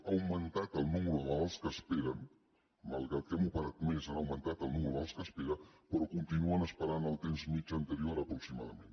ha augmentat el nombre de malalts que esperen malgrat que hem operat més ha augmentat el nombre de malalts que esperen però continuen esperant el temps mitjà anterior aproximadament